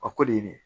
A ko de ye ne ye